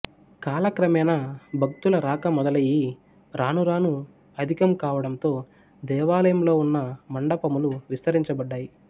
కాలక్రమేణా భక్తుల రాక మొదలయ్యి రాను రాను అధికం కావంటంతో దేవాలయంలో వున్న మండపములు విస్తరించబడ్డాయి